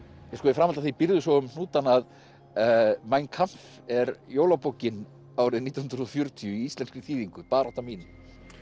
í framhaldi af því býrðu svo um hnútana að mein Kampf er jólabókin árið nítján hundruð og fjörutíu í íslenskri þýðingu barátta mín